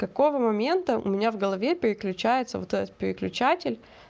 какого момента у меня в голове переключается вот этот переключатель